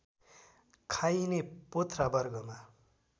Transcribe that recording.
खाइने पोथ्रा वर्गमा